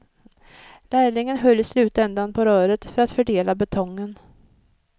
Lärlingen höll i slutändan på röret för att fördela betongen.